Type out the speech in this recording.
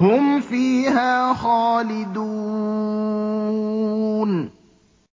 هُمْ فِيهَا خَالِدُونَ